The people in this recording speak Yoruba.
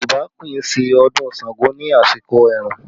Yorùbá kì í ṣe ọdún Ṣàngó ní àsìkò ẹ̀rùn